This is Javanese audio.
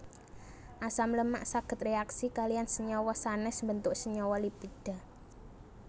Asam lemak saged réaksi kaliyan senyawa sanès mbentuk senyawa lipida